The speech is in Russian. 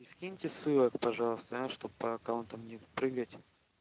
скиньте ссылок пожалуйста аа чтоб по аккаунтам не прыгать